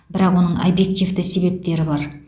бірақ оның объективті себептері бар